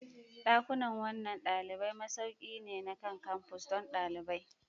Dakunan kwanan dalibai masauki ne na kan-campus don ɗalibai.